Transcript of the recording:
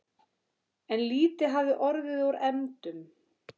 En lítið hafði orðið úr efndum.